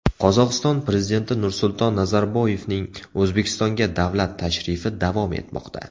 Qozog‘iston Prezidenti Nursulton Nazarboyevning O‘zbekistonga davlat tashrifi davom etmoqda.